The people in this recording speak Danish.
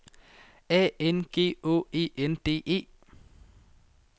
A N G Å E N D E